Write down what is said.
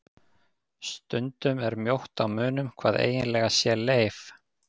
Stundum er mjótt á munum hvað eiginlega sé leif.